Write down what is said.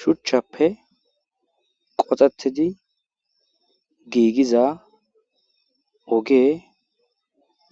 shichappe qoxettidi giigiza ogey